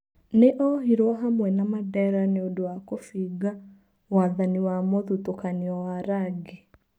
Nĩ- ohirwo hamwe na Mandera nĩ ũndũwa kũbinga wathani wa mũthutũkanio wa rangi.